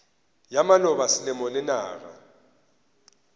ya maloba selemo le naga